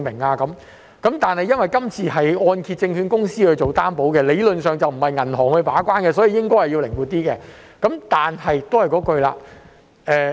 這項計劃由香港按揭證券有限公司作擔保，理論上並非由銀行把關，所以應該靈活一點。